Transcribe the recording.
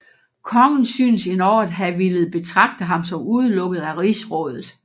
Kongen synes endog at have villet betragte ham som udelukket af rigsrådet